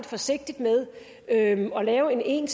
forsigtig med at lave en